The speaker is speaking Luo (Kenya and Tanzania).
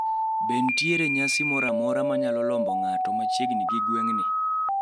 be ntiere nyasi moro amora manyalo lombo ng`ato machiegni gi gweng` ni